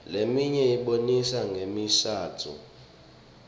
leminye ibonisa ngemishadvo